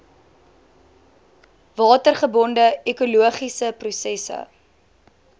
watergebonde ekologiese prosesse